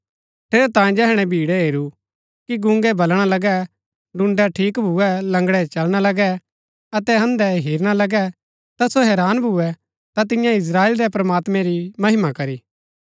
ठेरैतांये जैहणै भीड़ै हेरू कि गूंगै बलणा लगै टूण्ड़ै ठीक भूए लंगड़ै चलना लगै अतै अन्धै हेरना लगै ता सो हैरान भूए ता तिन्यै इस्त्राएल रै प्रमात्मैं री महिमा करी